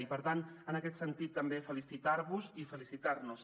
i per tant en aquest sentit també felicitar vos i felicitar nos